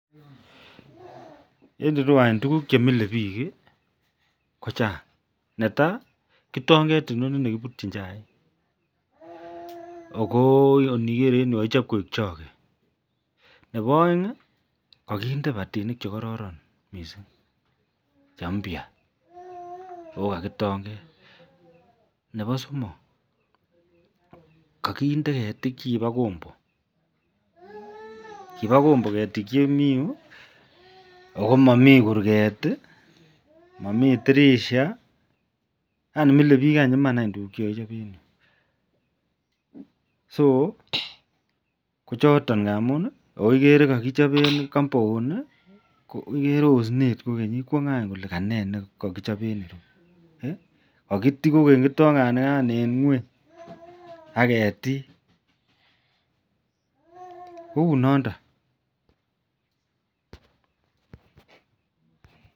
En irou KO tuguk chemike bik kochang neitai kitonget inoni nekibutin chaik okoniger en ireu kokachop Koi choge Nebo aeng keinde kibatinik chekororon mising Che mpayen nebo somok kokakinde ketik chekiba Kombo Koba Kombo ketik chemi ireu akomami kurget, mamii torisho? Akokiree kokakichopen Cs compound Cs onset kogeny ikere Kole ko nee nikachop kouni kakiti kogeny kitonget en ngweny aketik Koi noton